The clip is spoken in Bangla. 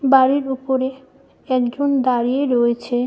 বাড়ির ওপরে একজন দাঁড়িয়ে রয়েছে ।